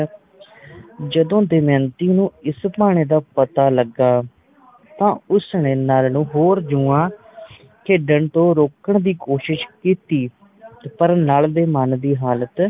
ਜਦੋ ਦਮਯੰਤੀ ਨੂੰ ਇਸ ਭਾਣੇ ਦਾ ਪਤਾ ਲਗਾ ਤਾ ਉਸ ਨੇ ਨੱਲ ਨੂੰ ਹੋਰ ਜੁਆ ਖੇਡਣ ਤੋਂ ਰੋਕਣ ਦੀ ਕੋਸ਼ਿਸ਼ ਕੀਤੀ ਪਰ ਨੱਲ ਦੇ ਮਨ ਦੀ ਹਾਲਤ